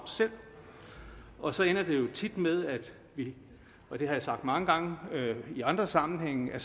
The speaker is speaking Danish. og så ender det jo tit med og det har jeg sagt mange gange i andre sammenhænge at